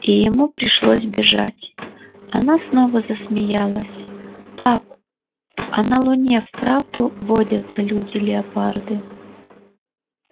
и ему пришлось бежать она снова засмеялась пап а на луне вправду водятся люди-леопарды